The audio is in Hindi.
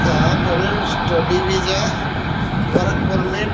यहां पर स्टडी विजा वर्क परमिट --